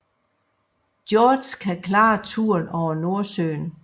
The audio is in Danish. George kan klare turen over Nordsøen